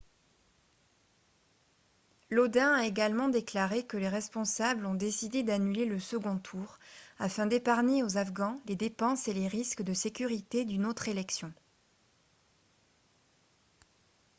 lodin a également déclaré que les responsables ont décidé d'annuler le second tour afin d'épargner aux afghans les dépenses et les risques de sécurité d'une autre élection